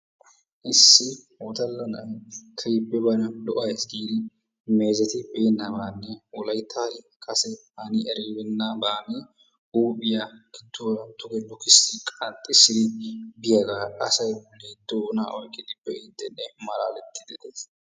issi wodalla naa'ay keehippe bana lo''ays giidi meezetibeenabanne wolayttan kase hani eribeenaban huuphiyaa gidduwaara duge lukkissi qanxxissidi biyaagaa asay doona oyqqidi be'idenne malaaletide de'ees.